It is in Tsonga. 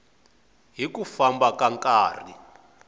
hi ku famba ka nkarhi